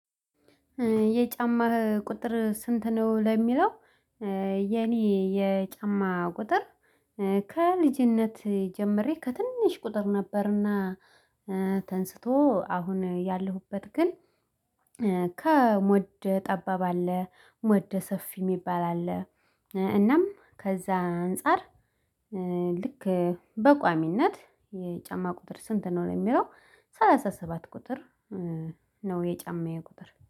የጫማ ቁጥር ስንት ነው? ለሚለው የኔ የጫማ ቁጥር ከልጅነት ጀምሬ ከትንሽ ቁጥር ነበርና። ተነስቶ አሁን ያለሁበት ግን። ከሞድ ጠባብ አለ ሞድ ሰፊ የሚባል አለ። እናም ከዛ አንፃር። ልክ በቋሚነት የጫማ ቁጥር ስንት ነው የሚለው ሰላሳ ሰባት ቁጥር ነው የጫማዬ ቁጥር